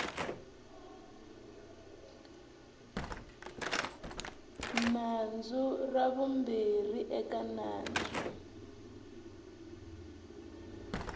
nandzu ra vumbirhi eka nandzu